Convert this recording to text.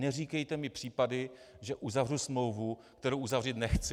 Neříkejte mi případy, že uzavřu smlouvu, kterou uzavřít nechci.